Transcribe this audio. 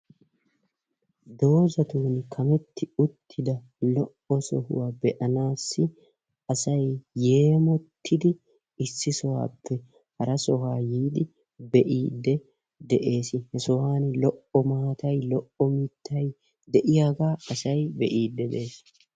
Doozatun kametti uttida lo"o sohuwaa be"anaassi asay yeemottidi issi sohuwaappe hara sohuwaa yiidi be"iidde de"ees. he sohuwaani lo"o maatay lo"o mittay de"iyaagaa asay be'iide de'ees.